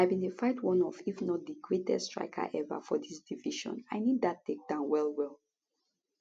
i bin dey fight one of if not di greatest striker eva for dis division i need dat takedown wellwell